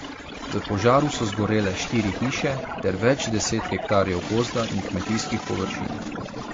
V požaru so zgorele štiri hiše ter več deset hektarjev gozda in kmetijskih površin.